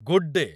Good day!